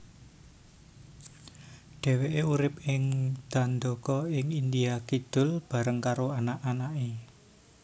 Dheweke urip ing Dandaka ing India Kidul bareng karo anak anake